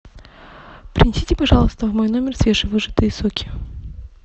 принесите пожалуйста в мой номер свежевыжатые соки